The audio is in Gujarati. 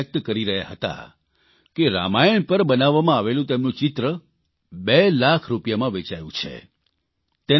તે ખુશી વ્યકત કરી રહ્યા હતા કે રામાયણ પર બનાવવામાં આવેલું તેમનું ચિત્ર બે લાખ રૂપિયામાં વેચાયું છે